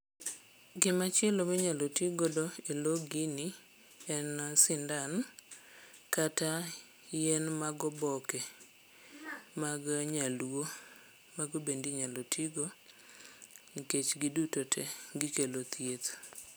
Gimachielo minyalo tigodo e lo gini en sindan kata yien mag oboke mag nyaluo mago bende inyalo tigo nikech giduto te gikelo thieth.